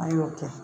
An y'o kɛ